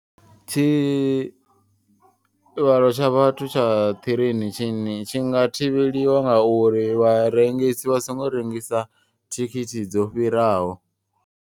Tshi vhalo tsha vhathu tsha ṱireini tshi tshi nga thivheliwa nga uri vharengisi vha songo rengisa thikhithi dzo fhiraho.